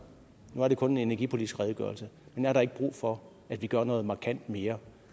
og det kun en energipolitisk redegørelse men er der ikke brug for at vi gør noget markant mere